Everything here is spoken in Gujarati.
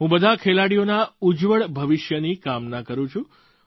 હું બધાં ખેલાડીઓના ઉજ્જવળ ભવિષ્યની કામના કરું છું